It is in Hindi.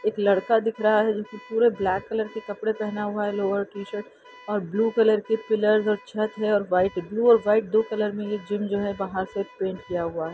एक लड़का दिख रहा है जिसने पूरे ब्लैक कलर के कपड़ा पहना हुआ है लोअर टी-शर्ट और ब्लू कलर के पिलर्स और छत है और वाइट ब्लू और वाइट दो कलर में ये जिम जो है बाहर से पैंट किया हुआ है।